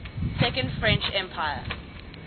second french empire